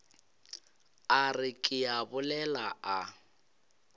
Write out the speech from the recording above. a re ke a bolela